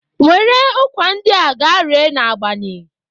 Were ụkwa ndị a ga ree n'Agbani!